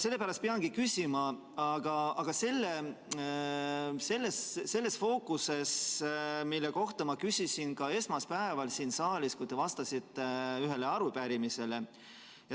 Sellepärast peangi küsima selles fookuses, mille kohta ma küsisin ka esmaspäeval, kui te vastasite ühele arupärimisele.